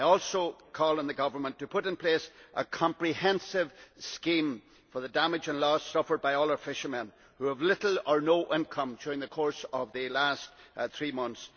I also call on the government to put in place a comprehensive scheme for the damage and loss suffered by all our fishermen, who have had little or no income during the course of the last three months.